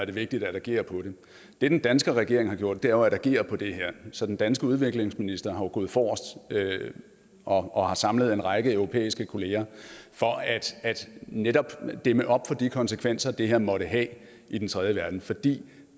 er vigtigt at agere på det det den danske regering har gjort er jo at agere på det her så den danske udviklingsminister er jo gået forrest og har samlet en række europæiske kollegaer for netop at dæmme op for de konsekvenser det her måtte have i den tredje verden for det